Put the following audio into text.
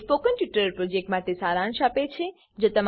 તે spoken tutorial પ્રોજેક્ટનો સારાંશ આપે છે